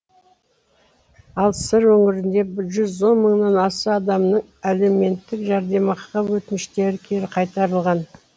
ал сыр өңірінде жүз он мыңнан аса адамның әлеуметтік жәрдемақыға өтініштері кері қайтарылған